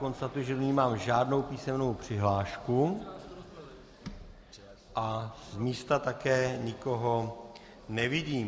Konstatuji, že do ní nemám žádnou písemnou přihlášku a z místa také nikoho nevidím.